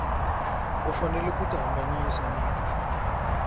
u fanele ku tihambanyisa na